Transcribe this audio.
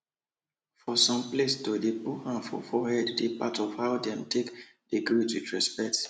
for some placeto dey put hand for forehead dey part of how dem take dey greet with respect